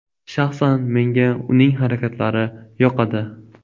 Shaxsan menga uning harakatlari yoqadi.